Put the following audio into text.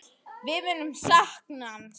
Við munum sakna hans.